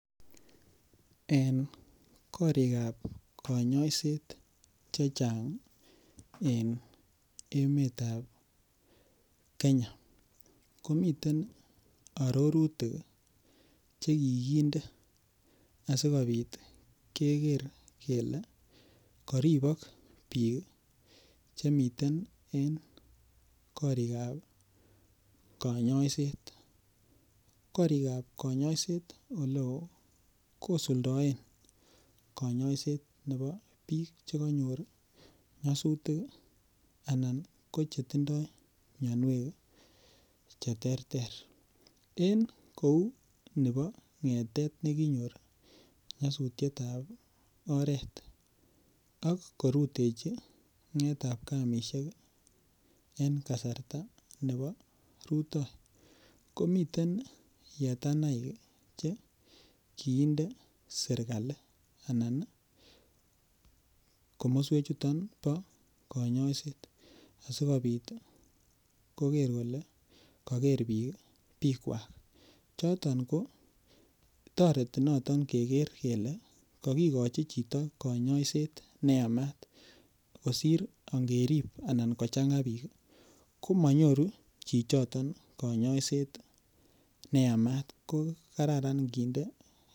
En korikab kanyoishet chechang' en emetab Kenya komiten arorutik chekikinde asikobit keker kele karibok biik chemiten en korikab kanyoishet korikab kanyoishet ole oo kusuldaen kanyaishet nebo biik chekanyor nyasutik anan ko chetindoi miyonwek cheterter eng' kou nebo ngetet nekinyoru nyosutyetab oret ak korutechi ng'etabkamishek en kasarta nebo rutoi komiten yetanaik che kikinde serikali anan komoswen chuton bo kanyoishet asikobit koker kole kaker biik bikwak choton kotoreti noton keker kele kakikochi chito kanyaishet neyamat kosir angerip anan kochang'a biik komanyoru chichon kanyaishet neyamat ko kararan kinde